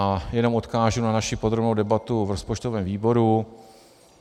A jenom odkážu na naši podrobnou debatu v rozpočtovém výboru.